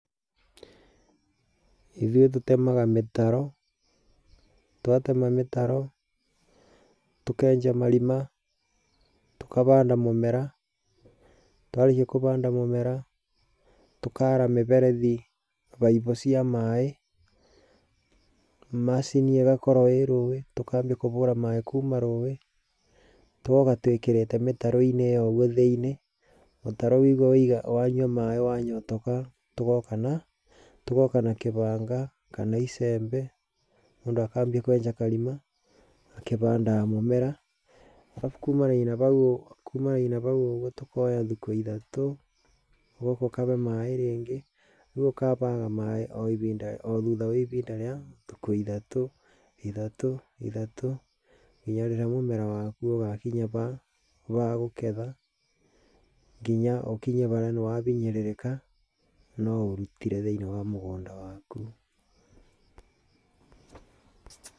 Ithuĩ tũtemaga mĩtaro, twatema mĩtaro tũkenja marima, tũkabanda mũmera, twarĩkĩa kũbanda mũmera, tũkara mĩberethi baibũ cia maaĩ, macini ĩgakorwo ĩrũĩ, tũkambia kũhũra maaĩ kuuma rũĩ tũgoka twĩkĩrĩte mĩtaroinĩ ĩyo kũugũo thĩinĩ. Mũtaro waigwa wanyua maaĩ wanyotoka, tũgoka na kĩbanga, kana icembe mũndũ akambia kwenja karima akĩbandaga mũmera. Arabu kuumanagĩa na hau ũgũo tũkoya thikũ ĩthatũ ũgoka ũkahe maaĩ rĩngĩ. Reu ũkahe maaĩ o thũtha wa ihinda rĩa thikũ ithatũ, ithatũ, ithatũ nginya rĩrĩa mũmera wakũ ũgakĩnya ba gũketha, ngĩnya ũkinye harĩa nĩ wabinyĩrĩrĩka no ũrũtĩre thĩinĩ wa mũgũnda waku.